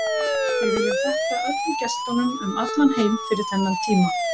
Við viljum þakka öllum gestunum um allan heim fyrir þennan tíma.